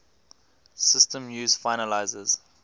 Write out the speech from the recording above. systems use finalizers